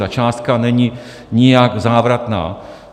Ta částka není nijak závratná.